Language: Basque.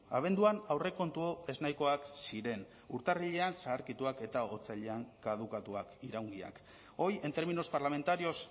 abenduan aurrekontu ez nahikoak ziren urtarrilean zaharkituak eta otsailean kadukatuak iraungiak hoy en términos parlamentarios